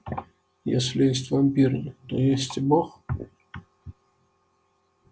если есть вампиры то есть и бог